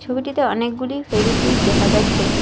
ছবিটিতে অনেকগুলি ফেবিকুইক দেখা যাচ্ছে।